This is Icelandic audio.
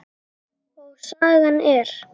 Og sagan er